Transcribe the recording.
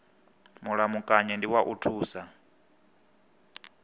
mulamukanyi ndi wa u thusa